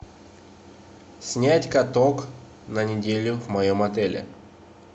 снять каток на неделю в моем отеле